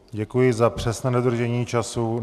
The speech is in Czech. Děkuji za přesné dodržení času.